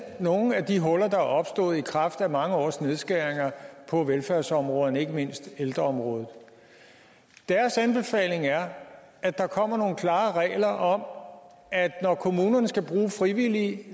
nogle af de huller der er opstået i kraft af mange års nedskæringer på velfærdsområdet ikke mindst ældreområdet deres anbefaling er at der kommer nogle klare regler om at når kommunerne skal bruge frivillige